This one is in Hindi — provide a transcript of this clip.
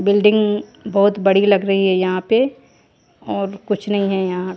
बिल्डिंग बहुत बड़ी लग रही है यहां पे और कुछ नहीं है यहां--